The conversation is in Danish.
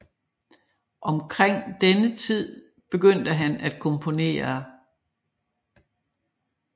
Omkring denne tid begyndte han at komponere